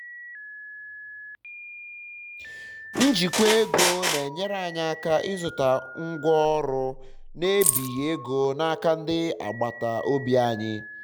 njikwa ego na enyere anyị aka ịzụta ngwa ọrụ na ebighi ego n'aka ndi agbata obi anyi